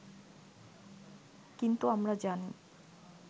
কিন্তু আমরা জানি